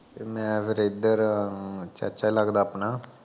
ਮੈਂ ਫੇਰ ਇਦਰ ਚਾਚਾ ਲੱਗਦਾ ਆਪਣਾ